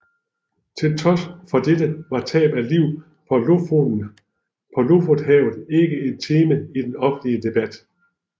Til trods for dette var tab af liv på Lofotenhavet ikke et tema i den offentlige debat